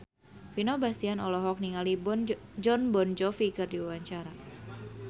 Vino Bastian olohok ningali Jon Bon Jovi keur diwawancara